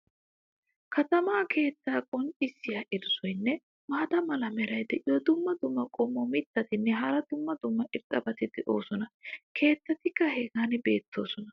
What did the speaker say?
katamaa keettaa qonccissiya irzzoynne maata mala meray diyo dumma dumma qommo mitattinne hara dumma dumma irxxabati de'oosona. keettatikka hagan beetoosona.